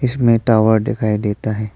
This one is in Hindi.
इसमें टावर दिखाई देता है।